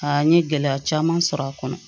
Aa n ye gɛlɛya caman sɔrɔ a kɔnɔ